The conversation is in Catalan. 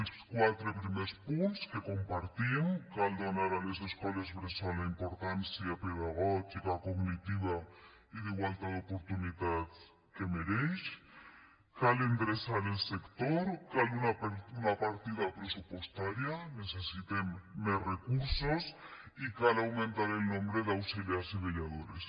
els quatre primers punts que compartim cal donar a les escoles bressol la importància pedagògica cognitiva i d’igualtat d’oportunitats que mereixen cal endreçar el sector cal una partida pressupostària necessitem més recursos i cal augmentar el nombre d’auxiliars i vetlladores